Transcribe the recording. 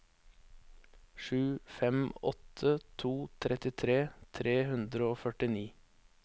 sju fem åtte to trettitre tre hundre og førtini